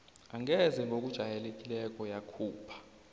angeze ngokujayelekileko yakhupha